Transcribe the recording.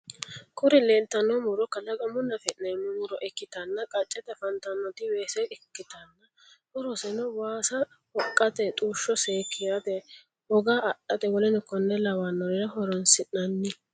Kuri leeltanno muro kalaqamunni afi'neemmo muro ikkitana qaccete afantannoti weese ikkitanna horoseno waasa hoqqate, xushsho seekkirate, hoga adhate w.k l horonsi'nanni.